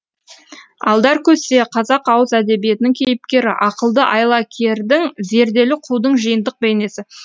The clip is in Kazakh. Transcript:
алдаркөсе қазақ ауыз әдебиетінің кейіпкері ақылды айлакердің зерделі қудың жиынтық бейнесі